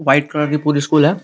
White colour की पूरी school है।